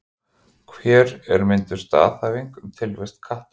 Hér er mynduð staðhæfing um tilvist katta.